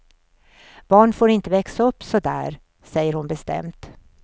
Barn får inte växa upp så där, säger hon bestämt.